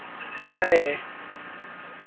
ಮತ್ತೆ ನಾಳೆ.